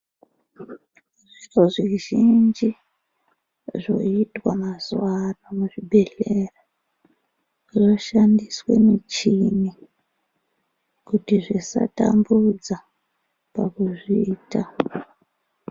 Zviro zvizhinji zvoitwa mazuva ano muzvibhedhleya. Zvinoshandiswe michini kuti zvisatambudza pakuzviita.